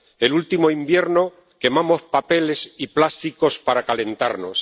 el último invierno quemamos papeles y plásticos para calentarnos.